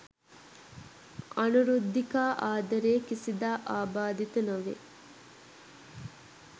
අනුරුද්ධිකා ආදරය කිසිදා ආබාධිත නොවේ